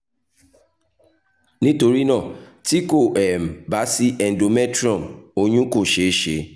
nitorinaa ti ko um ba si cs] endometrium oyun ko ṣee ṣe